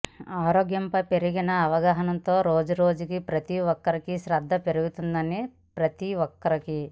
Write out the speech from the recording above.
ఆరోగ్యంపై పెరిగిన అవగాహనతో రోజురోజుకీ ప్రతీఒక్కరికీ శ్రద్ధ పెరుగుతుంది ప్రతీ ఒక్కరికి